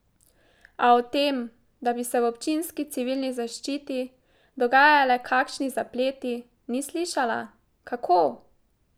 A o tem, da bi se v občinski civilni zaščiti dogajale kakšni zapleti, ni slišala: 'Kako?